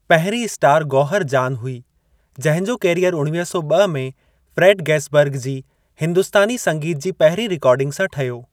पहिरीं स्टार गौहर जान हुई, जहिंजो कैरियर उणवीह सौ ॿ में फ्रे़ड गैसबर्ग जी हिंदुस्‍तानी संगीत जी पहिरीं रिकॉर्डिंग सां ठहियो।